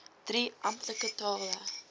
drie amptelike tale